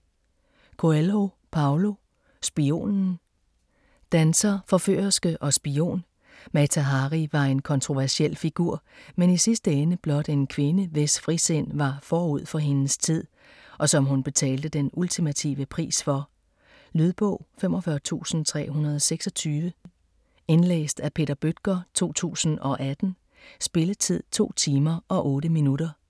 Coelho, Paulo: Spionen Danser, forførerske og spion - Mata Hari var en kontroversiel figur, men i sidste ende blot en kvinde, hvis frisind var forud for hendes tid - og som hun betalte den ultimative pris for. Lydbog 45326 Indlæst af Peter Bøttger, 2018. Spilletid: 2 timer, 8 minutter.